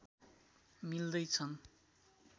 मिल्दै छन्